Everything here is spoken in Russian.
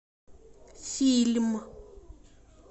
фильм